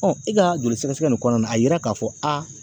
e ka joli sɛgɛsɛgɛ nin kɔnɔna na a yira k'a fɔ